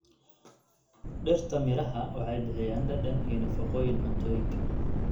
Dhirta miraha waxay bixiyaan dhadhan iyo nafaqooyin cuntooyinka.